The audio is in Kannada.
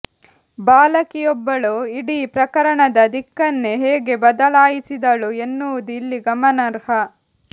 ಬಾಲಕಿಯೊಬ್ಬಳು ಇಡೀ ಪ್ರಕರಣದ ದಿಕ್ಕನ್ನೇ ಹೇಗೆ ಬದಲಾಯಿಸಿದಳು ಎನ್ನುವುದು ಇಲ್ಲಿ ಗಮನಾರ್ಹ